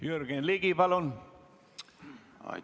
Jürgen Ligi, palun!